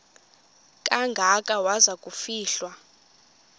kangaka waza kufihlwa